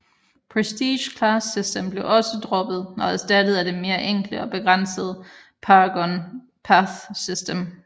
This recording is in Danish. Prestige Class systemet blev også droppet og erstattet af det mere enkle og begrænsede Paragon Path system